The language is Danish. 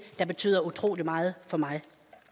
der betyder utrolig meget for mig